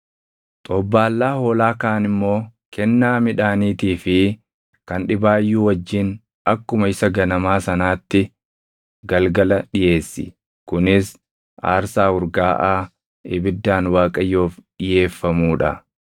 Xobbaallaa hoolaa kaan immoo kennaa midhaaniitii fi kan dhibaayyuu wajjin akkuma isa ganamaa sanaatti galgala dhiʼeessi; kunis aarsaa urgaaʼaa ibiddaan Waaqayyoof dhiʼeeffamuu dha.